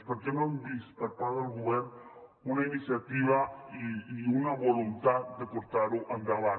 perquè no hem vist per part del govern una iniciativa i una voluntat de portar ho endavant